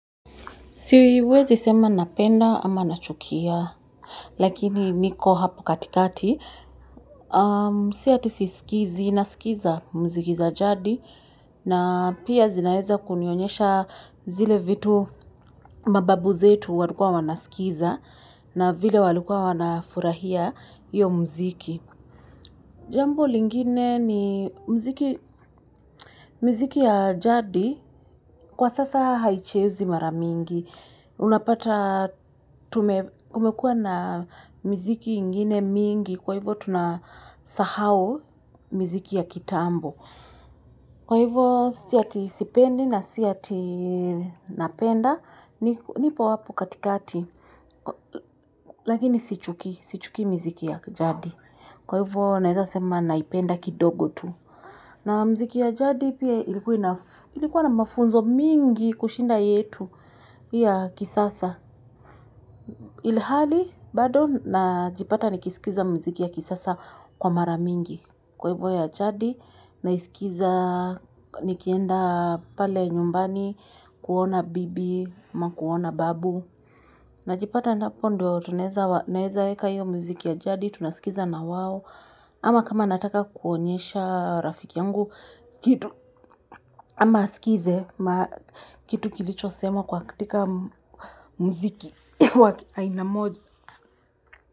Siwezi sema napenda ama nachukia, lakini niko hapo katikati, siati sisikizi, nasikiza mziki za jadi, na pia zinaeza kunionyesha zile vitu mababu zetu walukua wanasikiza na vile walukua wanafurahia iyo mziki. Jambo lingine ni mziki miziki ya jadi. Kwa sasa haichezwi maramingi. Unapata kumekua na mziki ingine mingi. Kwa hivyo tunasahau miziki ya kitambo. Kwa hivyo siyati sipendi na siyati napenda, nipo apo katikati, lakini sichuki mziki ya jadi. Kwa hivyo naiza sema naipenda kidogo tu. Na mziki ya jadi pia ilikuwa na mafunzo mingi kushinda yetu hii ya kisasa. Ilihali bado na jipata ni kisikiza mziki ya kisasa kwa maramingi. Kwa hivyo ya jadi, na isikiza nikienda pale nyumbani, kuona bibi, amakuona babu. Najipata na hapo ndio tuneeza weka hivyo muziki ya jadi, tunasikiza na wawo. Ama kama nataka kuonyesha rafiki yangu, kitu, ama asikize, kitu kilicho semwa kwa katika muziki wa aina moja.